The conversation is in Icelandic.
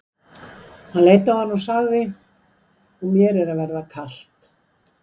Hann leit á hana og sagði:-Og mér er að verða kalt.